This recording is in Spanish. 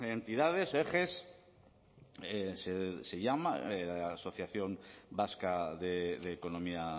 entidades ejes se llama asociación vasca de economía